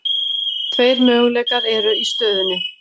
Tveir möguleikar eru í stöðunni.